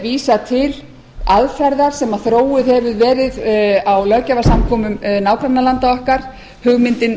vísa til aðferðar sem þróuð hefur verið á löggjafarsamkomum nágrannalanda okkar hugmyndin